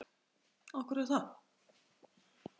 Sólveig Bergmann: Er búið að ganga frá þessum viðskiptum?